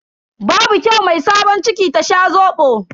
Babu kyau mai sabon ciki ta sha Zobo.